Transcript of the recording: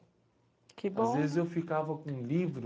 Que bom. Às vezes eu ficava com um livro...